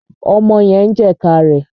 Ọmọ yẹn ń jẹ̀ka rẹ̀.